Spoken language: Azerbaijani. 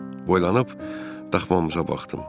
Boylanıb daxvamıza baxdım.